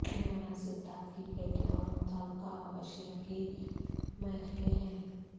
اہم عناصر دھات کی پلیٹیں اور متعلقہ اشیاء کی میخیں ہیں